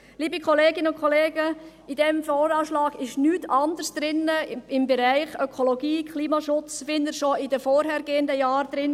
Liebe Kolleginnen und Kollegen, in diesem VA steht nichts anderes im Bereich Ökologie und Klimaschutz drin als in den vorangehenden Jahren.